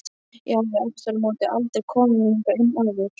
Ég hafði aftur á móti aldrei komið hingað inn áður.